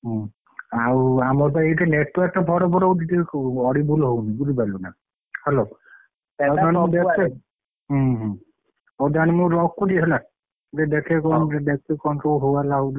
ହୁଁ ଆଉ ଆମର ତ ଏଠି network ଫଡ ଫଡ ହଉଛି ଟିକେ audible ହଉନି ବୁଝି ପାରିଲୁ ନା hello ହୁଁ ହଉ ତାହେଲେ ମୁଁ ରଖୁଛି ହେଲା ହଉ ତାହେଲେ ମୁଁ ରଖୁଛି ହେଲା ମୁଁ ଟିକେ ଦେଖେ କଣ ସବୁ ହୋ ହାଲା ହଉଛନନ୍ତି ହେଲା!